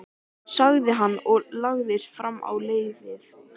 sagði hann og lagðist fram á leiðið.